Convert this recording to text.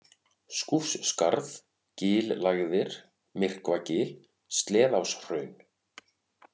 Skúfsskarð, Gillægðir, Myrkvagil, Sleðaáshraun